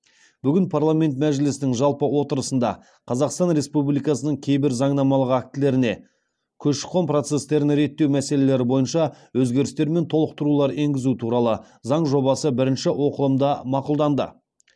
бүгін парламент мәжілісінің жалпы отырысында қазақстан республикасының кейбір заңнамалық актілеріне көші қон процестерін реттеу мәселелері бойынша өзгерістер мен толықтырулар енгізу туралы заң жобасы бірінші оқылымда мақұлданды